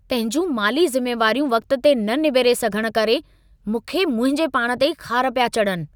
पंहिंजूं माली ज़िमेवारियूं वक़्त ते न निबेरे सघनि करे मूंखे मुंहिंजे पाण ते ई ख़ारु पिया चढ़न।